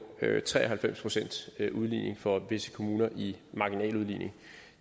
tre og halvfems pcts udligning for visse kommuner i marginal udligning